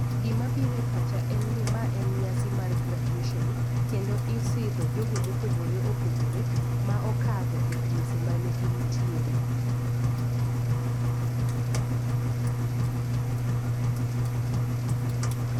Gima bire pacha en ni ma en nyasi mar graduation kendo isidho jogo mopogore opogore ma okadho e klese mane gintiere.